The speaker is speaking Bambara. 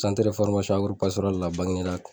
Bagineda